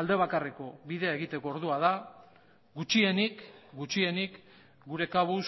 alde bakarreko bidea egiteko ordua da gutxienik gutxienik gure kabuz